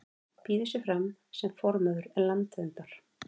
Býður sig fram sem formaður Landverndar